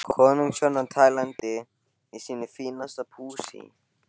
Konungshjónin á Tælandi í sínu fínasta pússi.